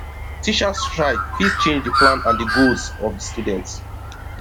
teachers strike fit change di plan and goals of di student